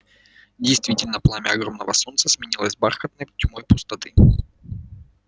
действительно пламя огромного солнца сменилось бархатной тьмой пустоты